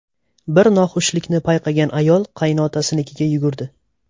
Bir noxushlikni payqagan ayol qaynotasinikiga yugurdi.